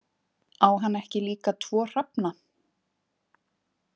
Á hann ekki líka tvo hrafna?